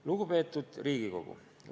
Lugupeetud Riigikogu!